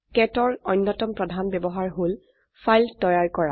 কেট ৰ অন্যতম প্ৰধান ব্যবহাৰ হল ফাইল তৈয়াৰ কৰা